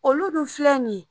Olu dun filɛ nin ye